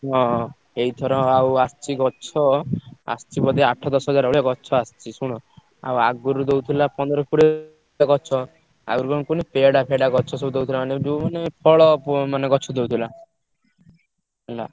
ହଁ ହଁ ଏଇଥର ଆଉ ଆସଚି ଗଛ ଆସଚି ବୋଧେ ଆଠ ଦଶ ହଜାର ଭଳିଆ ଗଛ ଆସଚି ଶୁଣ। ଆଉ ଆଗୁରୁ ଦଉଥିଲା ପନ୍ଦର କୋଡିଏ ଗଛ। ଆଗୁରୁ କଣ ପୁଣି ପେଡା ପେଡା ଗଛ ସବୁ ଦଉଥିଲା ମାନେ ଯୋଉ ମାନେ ଫଳ ପୁ ମାନେ ଗଛ ଦଉଥିଲା। ହେଲା।